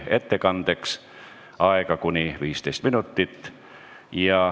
Ettekandeks on aega kuni 15 minutit.